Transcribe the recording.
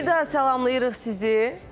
Bir daha salamlayırıq sizi.